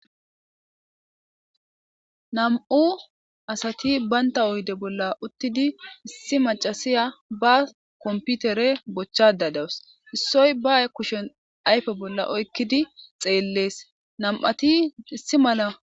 Nam7u asati baynta oyde bolla uttidi issi macasiya baa komputere bochchada dawus issoy ba kushen ayfe bolla oykkidi xeellees nam7ati issi mala.